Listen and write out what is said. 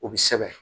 O bɛ sɛbɛn